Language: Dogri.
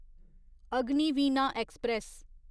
अग्निवीणा एक्सप्रेस